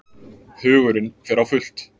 Hugurinn fer á fullt.